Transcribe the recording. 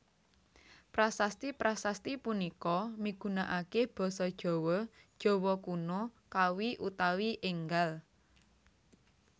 Prasasti prasasti punika migunakaké basa Jawa Jawa Kuna Kawi utawi énggal